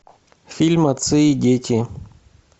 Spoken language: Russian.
фильм отцы и дети